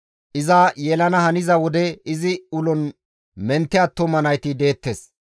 Iza yelana haniza wode izi ulon mentte attuma nayti deettes.